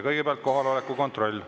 Kõigepealt kohaloleku kontroll.